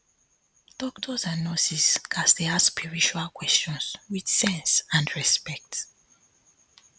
doctors and nurses gats dey ask spiritual um questions with sense and um respect